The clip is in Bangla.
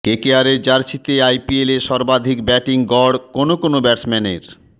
কেকেআরের জার্সিতে আইপিএলে সর্বাধিক ব্যাটিং গড় কোন কোন ব্যাটসম্যানের